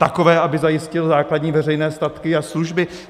Takové, aby zajistil základní veřejné statky a služby.